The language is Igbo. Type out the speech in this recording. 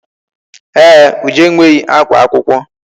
Ee, Uju enweghị akwa akwụkwọ.